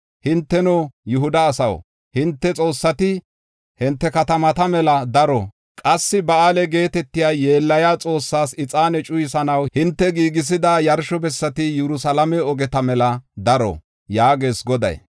Hinteno, Yihuda asaw, hinte xoossati hinte katamata mela daro. Qassi Ba7aale geetetiya yeellaya xoossaas ixaane cuyisanaw hinte giigisiya yarsho bessati Yerusalaame ogeta mela daro’ yaagees Goday.